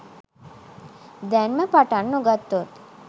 දැන්ම පටන් නොගත්තොත්